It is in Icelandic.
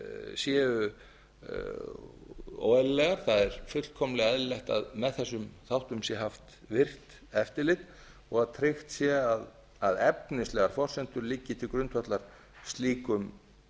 séu óeðlilegar það er fullkomlega eðlilegt að með þessum þáttum sé haft virkt eftirlit og að tryggt sé að efnislegar forsendur liggi til grundvallar slíkum